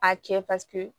A cɛ paseke